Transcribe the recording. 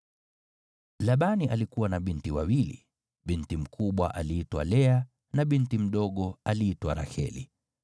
Labani alikuwa na binti wawili, binti mkubwa aliitwa Lea na binti mdogo aliitwa Raheli.